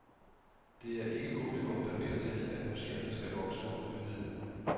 Det er ikke publikum, der beder til, at museerne skal vokse og udvide.